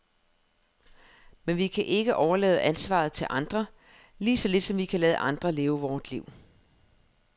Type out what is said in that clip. Men vi kan ikke overlade ansvaret til andre, lige så lidt som vi kan lade andre leve vort liv.